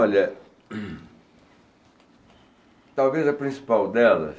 Olha... Talvez a principal delas